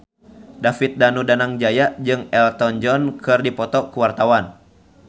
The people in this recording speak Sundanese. David Danu Danangjaya jeung Elton John keur dipoto ku wartawan